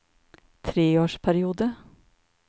treårsperiode